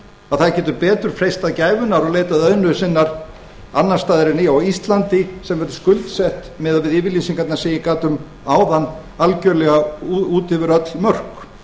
að það getur betur freistað gæfunnar og leitað auðnu sinnar annars staðar en á íslandi sem er skuldsett miðað við yfirlýsingarnar sem ég gat um áðan algjörlega út yfir öll mörk